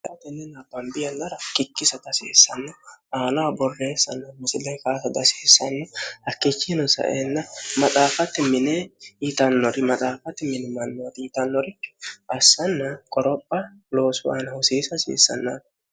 htnnibbanbiyallara kikkisa xasiissanno aanaa borreessanna musile kaasa dasiissanno hakkichiinosaenna maxaafatti minee yitannori maxaafatti minimannoori yitannori assanna qoropha loosu aana husiisi hasiissannani